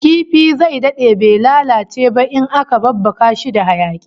Kifi zai dade bai lalace ba in aka babbaka shi da hayaki